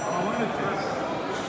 Allah bərəkət versin.